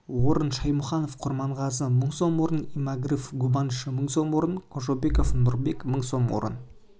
орын шаймуханов курмангазы мың сом орын иагмыров губанч мың сом орын кожобеков нурбек мың сом орын